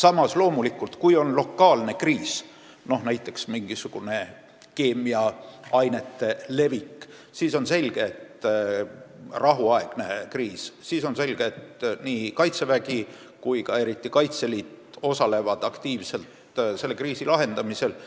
Aga loomulikult, kui on lokaalne kriis, näiteks mingisugune keemiliste ainete vallapääsemine või muu rahuaegne kriis, siis on selge, et nii Kaitsevägi kui ka eriti Kaitseliit osalevad aktiivselt selle lahendamisel.